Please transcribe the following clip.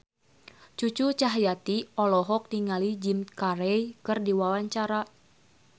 Cucu Cahyati olohok ningali Jim Carey keur diwawancara